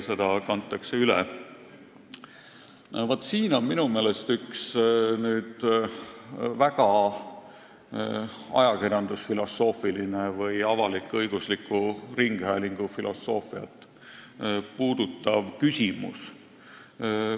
Vaat, siin on minu meelest nüüd üks väga ajakirjandusfilosoofiline või avalik-õigusliku ringhäälingu filosoofiat puudutav küsimus.